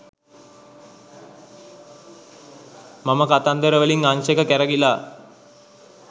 මම කතන්දර වලින් අංශක කැරකිලා